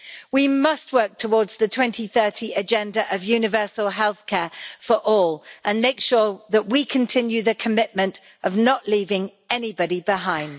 We must work towards the 2030 agenda of universal healthcare for all, and make sure that we continue with the commitment of not leaving anybody behind.